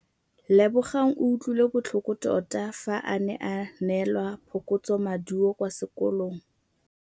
Lebogang o utlwile botlhoko tota fa a neelwa phokotsômaduô kwa sekolong.